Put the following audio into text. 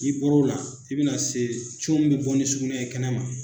N'i bor'o la i be na se min be bɔ ni sugunɛ ye kɛnɛma